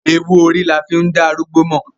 Ewú orí ni a fi ń da arúgbó mọ̀.